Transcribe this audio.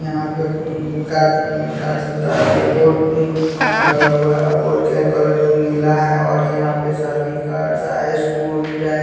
यहाँ पे फू उ कार्ड उ कार्ड छपता है और ये बोर्ड और ऊं कल लगा हुआ है और बोर्ड का कलर नीला है और यहाँ पे शादी कार्ड्स आए स्कूल टै --